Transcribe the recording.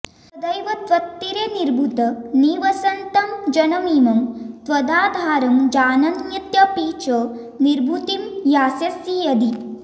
सदैव त्वत्तीरे निभृत निवसन्तं जनमिमं त्वदाधारं जानन्त्यपि च निभृतिं यास्यसि यदि